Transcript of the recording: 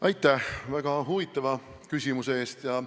Aitäh väga huvitava küsimuse eest!